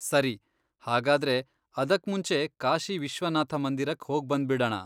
ಸರಿ, ಹಾಗಾದ್ರೆ ಅದಕ್ಮುಂಚೆ ಕಾಶಿ ವಿಶ್ವನಾಥ ಮಂದಿರಕ್ ಹೋಗ್ಬಂದ್ಬಿಡಣ!